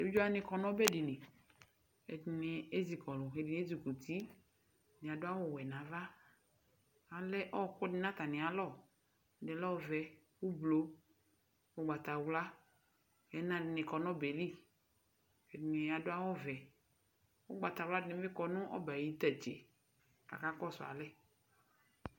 evidze wani kɔ n'ɔbɛ di li ɛdini ezi kɔlu ɛdini ezikuti ɛdini adu awu wɛ n'ava alɛ ɔku di n'atami alɔ ɛdi lɛ ɔvɛ ublu ugbata wla ɛna di ni kɔ n'ɔbɛ li k'ɛdini adu awu vɛ ugbata wla di ni bi kɔ n'ɔbɛ ayi tantse k'aka kɔsu alɛ.